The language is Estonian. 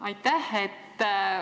Aitäh!